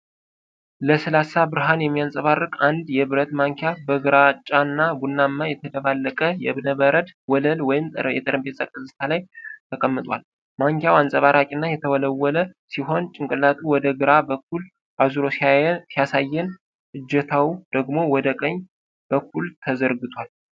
ለስላሳ ብርሃን የሚያንጸባርቅ አንድ የብረት ማንኪያ በግራጫና ቡናማ የተደባለቀ የእብነበረድ ወለል ወይም የጠረጴዛ ገጽታ ላይ ተቀምጧል። ማንኪያው አንፀባራቂ እና የተወለወለ ሲሆን፤ ጭንቅላቱ ወደ ግራ በኩል አዙሮ ሲያሳየን፣ እጀታው ደግሞ ወደ ቀኝ በኩል ተዘርግቷል።